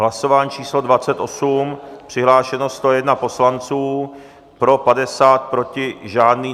Hlasování číslo 28, přihlášeno 101 poslanců, pro 50, proti žádný.